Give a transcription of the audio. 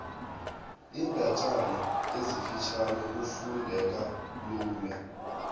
iindatjana ezifitjhani zifundeka lula